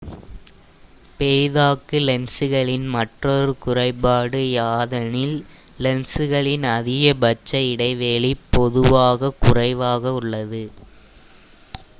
பெரிதாக்கு லென்சுகளின் மற்றொரு குறைபாடு யாதெனில் லென்சுகளின் அதிகபட்ச இடைவெளி வேகம் பொதுவாக குறைவாக உள்ளது